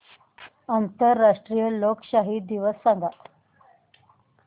आंतरराष्ट्रीय लोकशाही दिवस सांगा